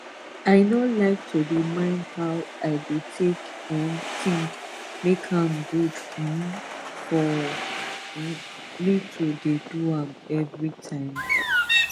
i nor like to de mind how i de take um tink make am gud um for um me to de do am everi time